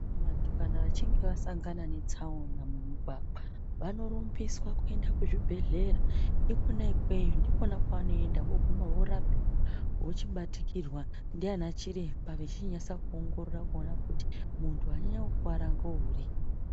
Vantu kana vechinge vasangana netsaona mumugwagwa vanorumbiswa kuenda kuchibhedhlera. Ikona ikweyo, ndikona kwevanoenda voguma vorapiwa vochibatikirwa ndiana chiremba vechichinyase kuona kuti wanyanya kukuwara ngeuri.